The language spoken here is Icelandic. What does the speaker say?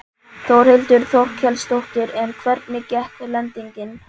Þórhildur Þorkelsdóttir: En hvernig gekk lendingin?